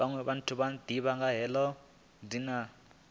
fhiwa muthu o itaho khumbelo